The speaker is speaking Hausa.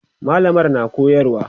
mallamar na koyarwa